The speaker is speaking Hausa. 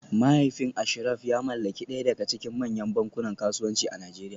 Mahaifin Ashraf ya mallaki daya daga cikin manyan bankunan kasuwanci a Najeriya